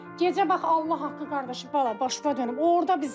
Gecə bax Allah haqqı qardaşım bala başına dönüm.